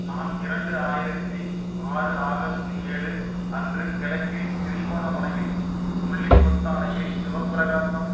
நான் இரண்டு ஆயிரத்தி ஆறு ஆகஸ்ட் ஏழு அன்று கிழக்கில் திருகோணமலையில் முல்லிப்பொத்தானையில் சிவப்பிரகாசம்